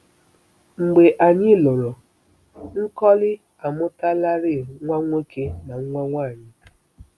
Mgbe anyị lụrụ, Nkoli amụtalarị nwa nwoke na nwa nwanyị.